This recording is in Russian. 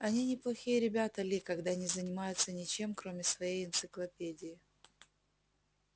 они неплохие ребята ли когда не занимаются ничем кроме своей энциклопедии